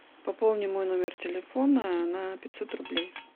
пополни мой номер телефона на пятьсот рублей